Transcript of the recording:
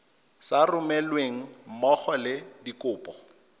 sa romelweng mmogo le dikopo